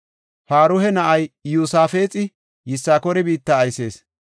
Paruha na7ay Iyosaafexi Yisakoora biitta aysees.